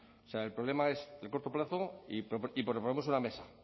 o sea el problema es el corto plazo y proponemos una mesa